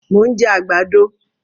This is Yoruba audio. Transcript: Mo ń jẹ àgbàdo